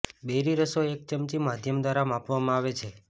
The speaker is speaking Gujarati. બેરી રસો એક ચમચી માધ્યમ દ્વારા માપવામાં આવે છે